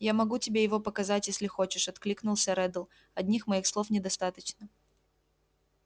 я могу тебе его показать если хочешь откликнулся реддл одних моих слов недостаточно